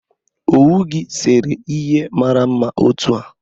owu gi sere ihe a mara mma otu a?